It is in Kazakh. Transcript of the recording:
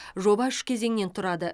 жоба үш кезеңнен тұрады